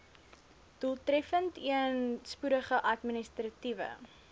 doeltreffendeen spoedige administratiewe